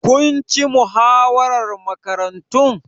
Kun ci muhawarar Makarantun?